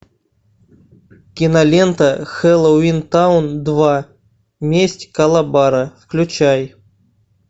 кинолента хэллоуин таун два месть калабара включай